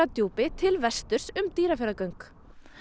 Djúpi til vesturs um Dýrafjarðargöng